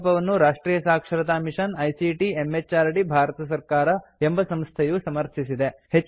ಈ ಪ್ರಕಲ್ಪವನ್ನು ರಾಷ್ಟ್ರಿಯ ಸಾಕ್ಷರತಾ ಮಿಷನ್ ಐಸಿಟಿ ಎಂಎಚಆರ್ಡಿ ಭಾರತ ಸರ್ಕಾರ ಎಂಬ ಸಂಸ್ಥೆಯು ಸಮರ್ಥಿಸಿದೆ